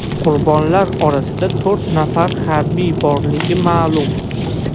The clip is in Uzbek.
Qurbonlar orasida to‘rt nafar harbiy borligi ma’lum.